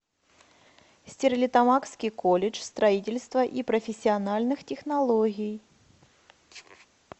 стерлитамакский колледж строительства и профессиональных технологий